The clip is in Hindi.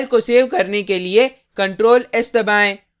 फाइल को सेव करने के लिए ctrl+s दबाएँ